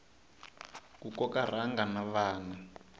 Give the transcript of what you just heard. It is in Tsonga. ku koka rhanga na vana